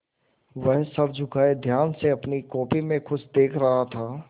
वह सर झुकाये ध्यान से अपनी कॉपी में कुछ देख रहा था